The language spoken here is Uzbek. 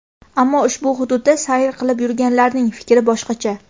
Ammo ushbu hududda sayr qilib yurganlarning fikri boshqacha.